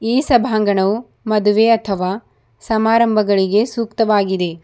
ಈ ಸಭಾಂಗಣವು ಮದುವೆ ಅಥವಾ ಸಮಾರಂಭಗಳಿಗೆ ಸೂಕ್ತವಾಗಿದೆ.